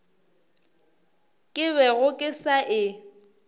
ke bego ke sa e